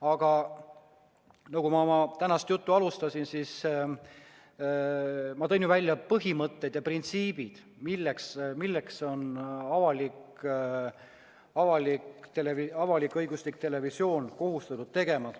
Aga nagu ma oma tänast juttu alustasin, ma tõin välja põhimõtted ja printsiibid, mida on avalik-õiguslik televisioon kohustatud järgima.